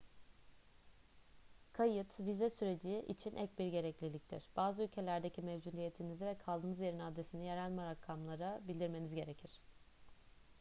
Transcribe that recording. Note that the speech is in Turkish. kayıt vize süreci için ek bir gerekliliktir bazı ülkelerde mevcudiyetinizi ve kaldığınız yerin adresini yerel makamlara bildirmeniz gerekir